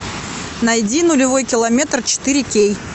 найди нулевой километр четыре кей